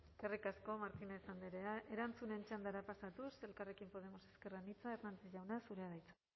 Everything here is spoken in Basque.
eskerrik asko martínez andrea erantzunen txandara pasatuz elkarrekin podemos ezker anitza hernández jauna zurea da hitza